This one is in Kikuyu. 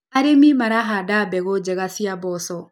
Arĩmi marahanda mbegũ njega cia mboco.